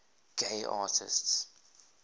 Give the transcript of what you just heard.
gay artists